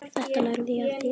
Þetta lærði ég af þér.